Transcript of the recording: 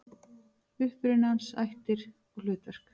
Uppruni hans, ættir og hlutverk.